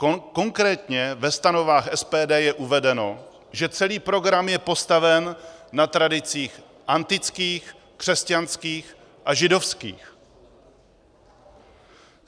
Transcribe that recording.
Konkrétně ve stanovách SPD je uvedeno, že celý program je postaven na tradicích antických, křesťanských a židovských.